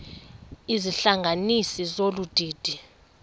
izihlanganisi zolu didi